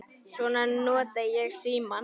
Svo nota ég símann.